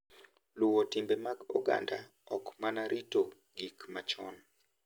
Luwo timbe mag oganda ok mana rito gik machon